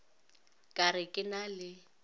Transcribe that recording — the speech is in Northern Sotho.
ka re ke na le